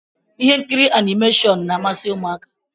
Ihe nkiri animashọnu n'ámási ụmụaka